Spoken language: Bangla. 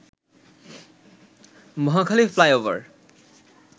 মহাখালী ফ্লাইওভার